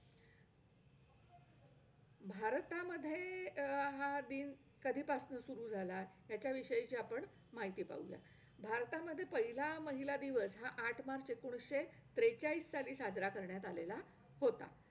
अ मी पहिली ते चौथी पर्यंत अ गाव आमच्या गावातल्या अ प्राथमिक जिल्हा परिषद शाळेमध्ये व्हते.अम...